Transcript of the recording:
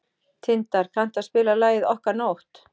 Tindar, kanntu að spila lagið „Okkar nótt“?